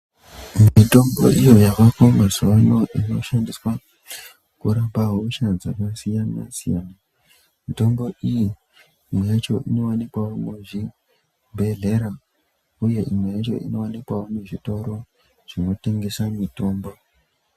Mitombo iyo yavako mazuwa ano inoshandiswa kurapa hosha dzakasiyana siyana. Mitombo iyi imwe yacho inowanikwawo muzvibhedhlera uye imwe yacho inowanikwawo muzvitoro zvinotengese mitombo.